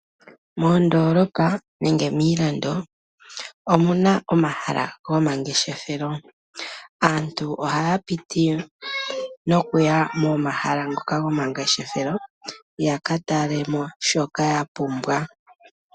Moondoolopa nenge miilando omu na omahala gomangeshefelo. Aantu ohaya piti noku ya momahala ngoka gomangeshefelo ya ka tale mo shoka ya pumbwa.